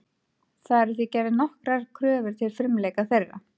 Það eru því gerðar nokkrar kröfur til frumleika þeirra.